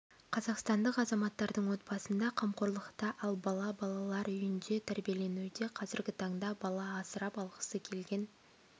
қазақстандық азаматтардың отбасында қамқорлықта ал бала балар үйінде тәрбиеленуде қазіргі таңда бала асырап алғысы келген